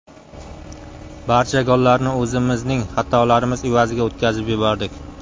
Barcha gollarni o‘zimizning xatolarimiz evaziga o‘tkazib yubordik.